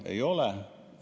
Ei ole.